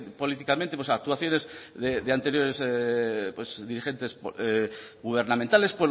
políticamente actuaciones de anteriores dirigentes gubernamentales